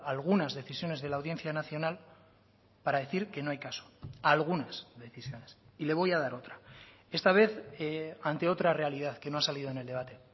algunas decisiones de la audiencia nacional para decir que no hay caso algunas decisiones y le voy a dar otra esta vez ante otra realidad que no ha salido en el debate